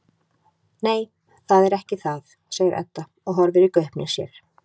Nei, það er ekki það, segir Edda og horfir í gaupnir sér.